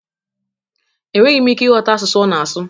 Enweghị m ike ịghọta asụsụ ọ na-asụ